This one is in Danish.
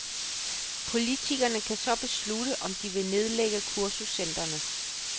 Politikerne kan så beslutte, om de vil nedlægge kursuscentrene.